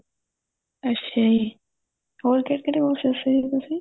ਅੱਛਾ ਜੀ ਹੋਰ ਕਹਿੜੇ ਕਹਿੜੇ course ਦੱਸੇ ਸੀ ਤੁਸੀਂ